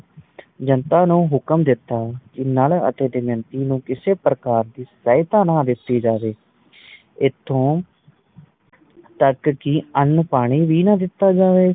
ਜਨਤਾ ਨੂੰ ਹੁਕਮ ਦਿੱਤਾ ਕੇ ਨੱਲ ਅਤੇ ਦਮਯੰਤੀ ਨੂੰ ਕਿਸੇ ਪ੍ਰਕਾਰ ਦੀ ਸਹਾਇਤਾ ਨਾ ਦਿੱਤੀ ਜਾਵੇ ਇਥੋਂ ਤੱਕ ਕਿ ਅੰਨ ਪਾਣੀ ਵੀ ਨਾ ਦਿੱਤਾ ਜਾਵੇ